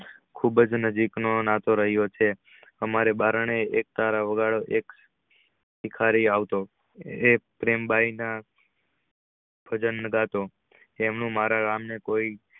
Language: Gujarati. ખુબ જ નજીક નો નાતો રહિયો છે અમારે બારણે એક તાર વગાડતો તો એક ભીખારી આવતો પ્રેમ ભાઈ ના તેમનું મારા રામ ને કોઈ